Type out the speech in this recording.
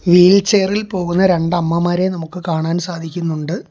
Wheel ചെയറിൽ പോകുന്ന രണ്ട് അമ്മമാരെ നമുക്ക് കാണാൻ സാധിക്കുന്നുണ്ട്.